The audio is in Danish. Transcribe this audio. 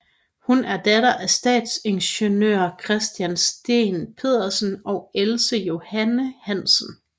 Hun er datter af stadsingeniør Christian Steen Petersen og Else Johanne Hansen